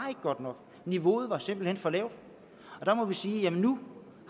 godt nok niveauet var simpelt hen for lavt der må jeg sige at nu